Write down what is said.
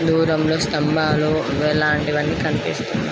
దూరంలో స్తంబాలు ఇలాంటివన్నీ కనిపిస్తున్న--